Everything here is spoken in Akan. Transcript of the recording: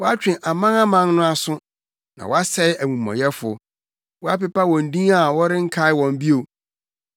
Woatwe amanaman no aso, na woasɛe amumɔyɛfo. Woapepa wɔn din a wɔrenkae wɔn bio.